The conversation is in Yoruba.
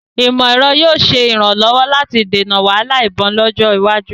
Ìmọ̀-ẹ̀rọ yóò ṣe ìrànlọ́wọ́ láti dènà wahala ìbọn lọ́jọ́ iwájú